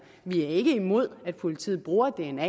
vi er ikke imod at politiet bruger dna